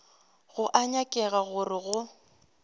go a nyakega gore go